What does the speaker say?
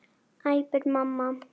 æpir mamma.